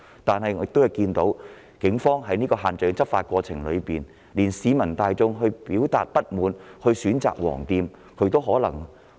但是，警方在限聚令的執法過程中，竟然連市民大眾表達不滿選擇光顧"黃店"也不放過。